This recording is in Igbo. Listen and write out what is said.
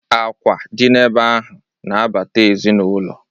Akwa dị n' ebe ahụ na-abata ezinụlọ.